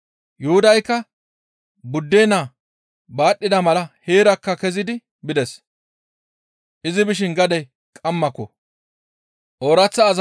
Yuhudaykka buddennaa baadhida mala heerakka kezidi bides; izi bishin gadey qammako.